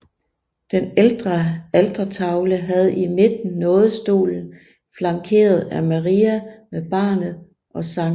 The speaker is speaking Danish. Den ældre altertavle havde i midten nådestolen flankeret af Maria med barnet og Skt